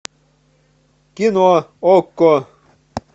кино окко